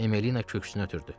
Emmelina köksünü ötürdü.